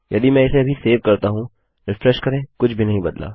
यदि मैं इसे अभी सेव करता हूँ रिफ्रेश करें कुछ भी नहीं बदला